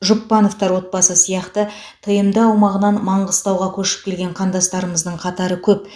жұпбановтар отбасы сияқты тмд аумағынан маңғыстауға көшіп келген қандастарымыздың қатары көп